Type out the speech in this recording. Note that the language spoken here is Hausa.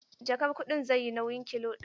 Jakar kuɗin zai yi nauyin kilo ɗari.